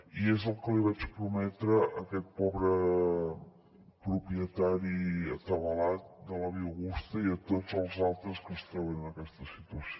i és el que li vaig prometre a aquest pobre propietari atabalat de la via augusta i a tots els altres que es troben en aquesta situació